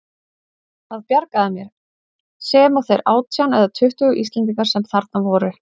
Það bjargaði mér, sem og þeir átján eða tuttugu Íslendingar sem þarna voru.